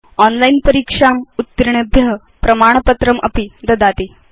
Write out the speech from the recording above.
online परीक्षाम् उत्तीर्णेभ्य प्रमाणपत्रमपि ददाति